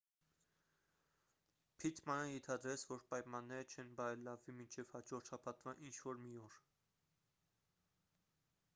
փիթմանը ենթադրեց որ պայմանները չեն բարելավվի մինչև հաջորդ շաբաթվա ինչ-որ մի օր